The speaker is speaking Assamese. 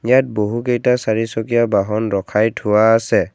ইয়াত বহু কেইটা চাৰিচকীয়া বাহন ৰখাই থোৱা আছে।